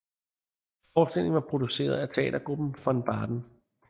Forestillingen var produceret af teatergruppen Von Baden